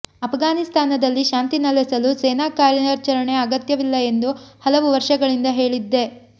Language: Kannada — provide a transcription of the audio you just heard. ಅಫ್ಘಾನಿಸ್ತಾನದಲ್ಲಿ ಶಾಂತಿ ನೆಲೆಸಲು ಸೇನಾ ಕಾರ್ಯಾಚರಣೆ ಅಗತ್ಯವಿಲ್ಲ ಎಂದು ಹಲವು ವರ್ಷಗಳಿಂದ ಹೇಳಿದ್ದೆ